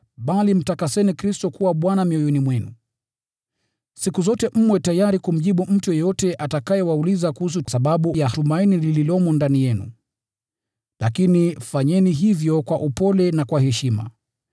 Bali mtakaseni Kristo kuwa Bwana mioyoni mwenu. Siku zote mwe tayari kumjibu mtu yeyote atakayewauliza kuhusu sababu ya tumaini lililomo ndani yenu. Lakini fanyeni hivyo kwa upole na kwa heshima,